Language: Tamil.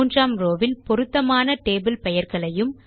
மூன்றாம் ரோவ் வில் பொருத்தமான டேபிள் பெயர்களையும்